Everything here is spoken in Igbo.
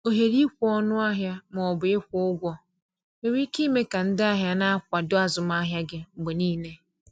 ohere ikwe ọnụ ahịa ma ọ bụ ịkwụ ụgwọ nwere ike ime ka ndị ahịa na-akwado azụmahịa gị mgbe niile.